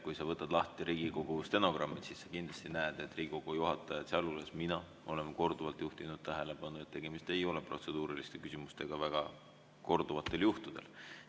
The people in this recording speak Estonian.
Kui sa võtad lahti Riigikogu stenogrammid, siis sa kindlasti näed, et Riigikogu juhatajad, sealhulgas mina, on korduvalt juhtinud tähelepanu, et tegemist ei ole protseduuriliste küsimustega, väga korduvatel juhtudel.